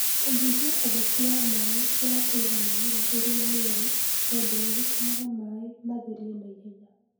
Kũnyihia ũhoti wa maĩ wa kũiga mĩmera ĩrĩa mĩerũ (water logging) tondũ nĩ gũtũmaga maĩ matherie na ihenya.